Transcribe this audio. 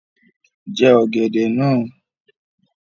Jẹ ọ̀gẹ̀dẹ̀ náà!